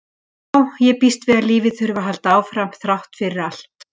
Já, ég býst við að lífið þurfi að halda áfram þrátt fyrir allt